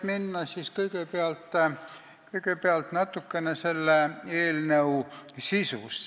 Nüüd natukene eelnõu sisust.